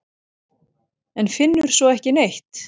En finnur svo ekki neitt.